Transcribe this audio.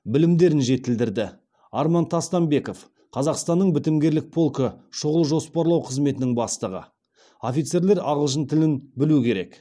білімдерін жетілдірді арман тастанбеков қазақстанның бітімгерлік полкі шұғыл жоспарлау қызметінің бастығы офицерлер ағылшын тілін білу керек